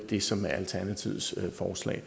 det som alternativets forslag